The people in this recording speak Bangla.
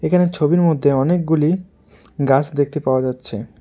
এখানে ছবির মধ্যে অনেকগুলি গাছ দেখতে পাওয়া যাচ্ছে।